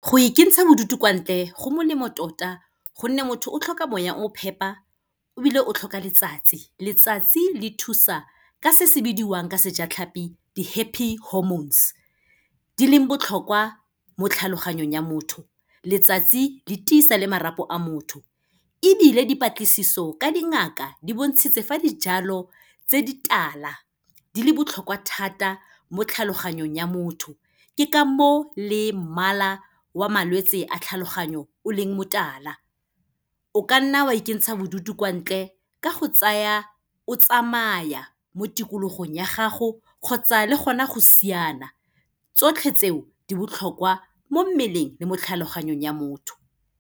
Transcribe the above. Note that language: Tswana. Go ikentsha bodutu kwa ntle, go molemo tota gonne motho o tlhoka moya o mo phepa ebile o tlhoka letsatsi. Letsatsi le thusa ka se se bidiwang ka sejatlhapi di-happy hormones, di leng botlhokwa mo tlhaloganyong ya motho. Letsatsi le tiisa le marapo a motho ebile, dipatlisiso ka dingaka di bontshitse fa dijalo tse di tala di le botlhokwa thata mo tlhaloganyong ya motho ke ka moo le mmala wa malwetse a tlhaloganyong o leng motala. O kanna wa ikentsha bodutu kwa ntle ka go tsaya o tsamaya mo tikologong ya gago kgotsa le gona go siana, tsotlhe tseo di botlhokwa mo mmeleng le mo tlhaloganyong ya motho.